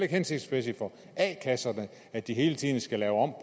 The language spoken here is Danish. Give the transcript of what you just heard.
hensigtsmæssigt for a kasserne at de hele tiden skal lave om